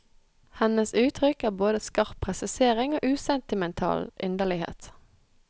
Hennes uttrykk er både skarp presisering og usentimental inderlighet.